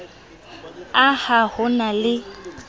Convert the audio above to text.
a ha ho na le